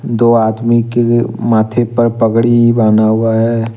दो आदमी के माथे पर पगड़ी बांन्हा हुआ है।